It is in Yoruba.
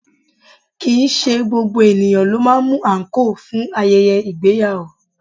Kìí ṣe gbogbo ènìyàn ló máa ń mú àǹkóò fún ayẹyẹ ìgbéyàwó